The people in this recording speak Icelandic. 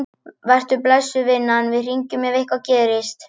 Vertu blessuð, vinan, við hringjum ef eitthvað gerist.